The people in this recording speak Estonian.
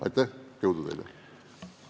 Aitäh ja jõudu teile!